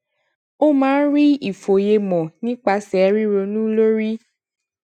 ó máa ń rí ìfòyemò nípasè ríronú lórí